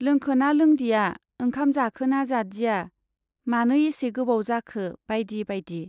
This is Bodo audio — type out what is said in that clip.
लोंखोना लोंदिया, ओंखाम जाखोना जादिया, मानो एसे गोबाव जाखो बाइदि बाइदि।